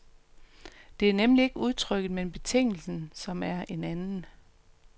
Det er nemlig ikke udtrykket, men betingelsen, som er en anden.